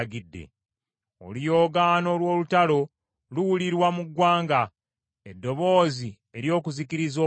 Oluyoogaano lw’olutalo luwulirwa mu ggwanga, eddoboozi ery’okuzikiriza okunene!